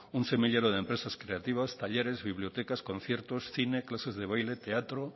un semillero de empresas creativas talleres bibliotecas conciertos cine clases de baile teatro